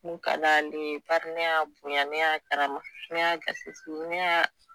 Mun ka d'ale ye bari ne y'a bonya kaya ne y'a karama ne y'a gasi sigi ne y'a